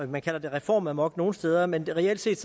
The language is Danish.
man kalder det reformamok nogle steder men reelt set